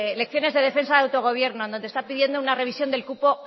lecciones de defensa de autogobierno donde está pidiendo una revisión del cupo